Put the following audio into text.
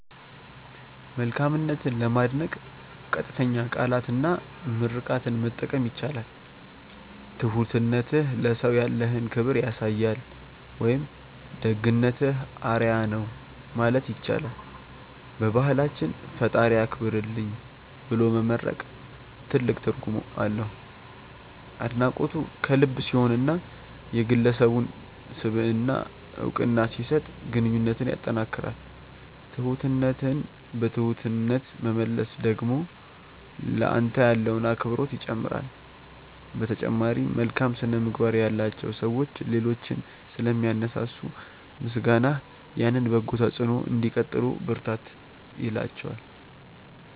መልካምነትን ለማድነቅ ቀጥተኛ ቃላትና ምርቃትን መጠቀም ይቻላል። "ትሁትነትህ ለሰው ያለህን ክብር ያሳያል" ወይም "ደግነትህ አርአያ ነው" ማለት ይቻላል። በባህላችን "ፈጣሪ ያክብርልኝ" ብሎ መመርቅ ትልቅ ትርጉም አለው። አድናቆቱ ከልብ ሲሆንና የግለሰቡን ስብዕና እውቅና ሲሰጥ ግንኙነትን ያጠናክራል። ትሁትነትን በትሁትነት መመለስ ደግሞ ለአንተ ያለውን አክብሮት ይጨምራል። በተጨማሪም፣ መልካም ስነ-ምግባር ያላቸው ሰዎች ሌሎችን ስለሚያነሳሱ፣ ምስጋናህ ያንን በጎ ተጽዕኖ እንዲቀጥሉ ብርታት ይላቸዋል።